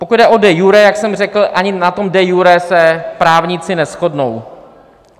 Pokud jde o de iure, jak jsem řekl, ani na tom de iure se právníci neshodnou.